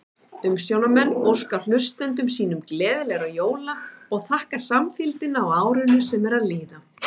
Umsjónarmenn óska hlustendum sínum gleðilegra jóla og þakka samfylgdina á árinu sem er að líða!